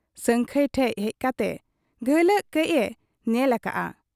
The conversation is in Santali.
ᱥᱟᱹᱝᱠᱷᱟᱹᱭ ᱴᱷᱮᱫ ᱦᱮᱡ ᱠᱟᱛᱮ ᱜᱷᱟᱹᱞᱟᱜ ᱠᱟᱹᱡ ᱮ ᱧᱮᱞ ᱟᱠᱟᱜ ᱟ ᱾